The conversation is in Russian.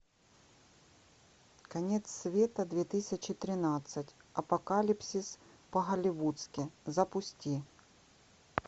конец света две тысячи тринадцать апокалипсис по голливудски запусти